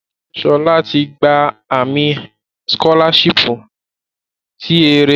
Shola ti gba ami-eye sikolashipu ti ere idaraya